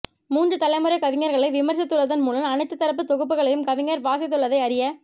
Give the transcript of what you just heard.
மூன்று தலைமுறைக் கவிஞர்களை விமர்சித்துள்ளதன் மூலம் அனைத்துத் தரப்பு தொகுப்புகளையும் கவிஞர் வாசித்துள்ளதை அறிய